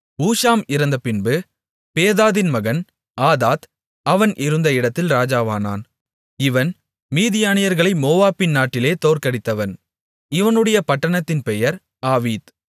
ஊஷாம் இறந்தபின்பு பேதாதின் மகன் ஆதாத் அவன் இருந்த இடத்தில் இராஜாவானான் இவன் மீதியானியர்களை மோவாபின் நாட்டிலே தோற்கடித்தவன் இவனுடைய பட்டணத்தின் பெயர் ஆவீத்